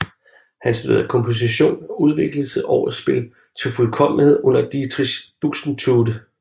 Han studerede komposition og udviklede sit orgelspil til fuldkommenhed under Dietrich Buxtehude